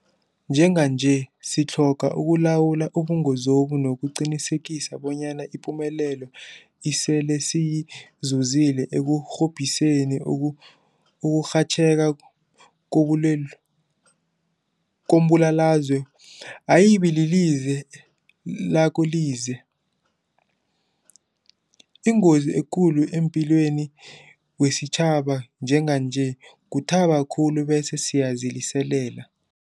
Njenganje sitlhoga ukulawula ubungozobu nokuqinisekisa bonyana ipumelelo esele siyizuzile ekurhobhiseni ukurhatjheka kombulalazwe ayibililize lakolize. Ingozi ekulu emaphilweni wesitjhaba njenganje kuthaba khulu bese siyaziliselela.